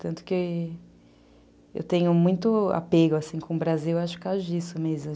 Tanto que eu tenho muito apego, assim, com o Brasil, acho que é por causa disso mesmo.